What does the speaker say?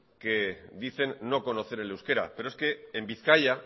que dicen no conocer el euskera pero es que en bizkaia